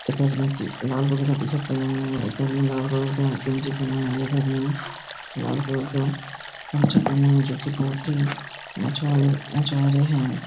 एक-आदमी लाल कलर का टी-शर्ट पहना हुआ है एक आदमी लाल कलर का जींस पहना हुआ है एक आदमी लाल कलर का जो की बहोत ही मछवारे मछवारे है।